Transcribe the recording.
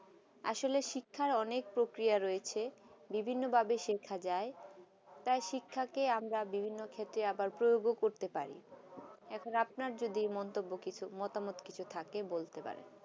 আসলে শিক্ষা অনেক প্রক্রিয়া রয়েছে বিভিন্ন ভাবে শিক্ষা যায় তাই শিক্ষাকে আমরা বিভিন্ন ক্ষেত্রে আবার প্রয়োগ করতে পারি এখন আপনার যদি মন্তব্য কিছু মতামত থাকে বলতে পারেন